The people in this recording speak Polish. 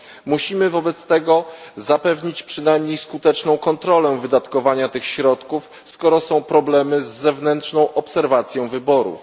Musimy wobec tego zapewnić przynajmniej skuteczną kontrolę wydatkowania tych środków, skoro są problemy z zewnętrzną obserwacją wyborów.